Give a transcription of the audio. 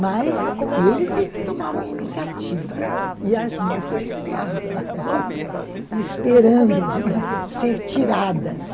Mas eles é que tomavam a iniciativa e as moças ficavam ali esperando ser tiradas.